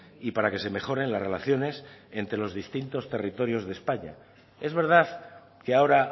y para que se mejoren las relaciones entre los distintos territorios de españa es verdad que ahora